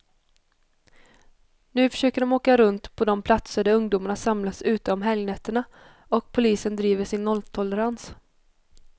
Nu försöker de åka runt på de platser där ungdomarna samlas ute om helgnätterna, och polisen driver sin nolltolerans.